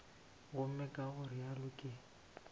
gomme ka go realo ke